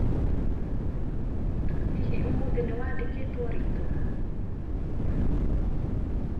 hihi ũmũthĩ nĩwandĩkĩtwo rĩtwa?